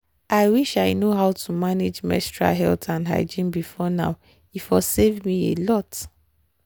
i wish i know how to manage menstrual health and hygiene before now e for save me a lot.